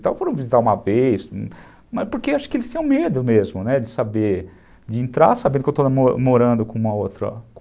foram me visitar uma vez, porque acho que eles tinham medo mesmo de saber, de entrar sabendo que eu estou morando